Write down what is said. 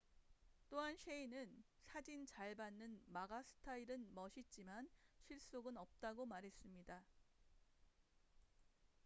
또한 셰이는 사진 잘 받는 마가 스타일은 멋있지만 실속은 없다고 말했습니다